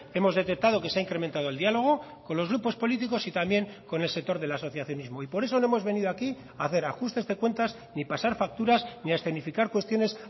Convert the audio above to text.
hemos detectado que se ha incrementado el diálogo con los grupos políticos y también con el sector de la asociacionismo y por eso no hemos venido aquí a hacer ajustes de cuentas ni pasar facturas ni a escenificar cuestiones